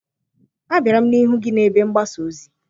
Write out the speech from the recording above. Abịara m n'ihu gị na ebe mgbasa ozi